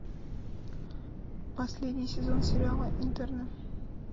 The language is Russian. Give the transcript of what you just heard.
последний сезон сериала интерны